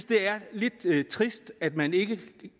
det er lidt trist at man ikke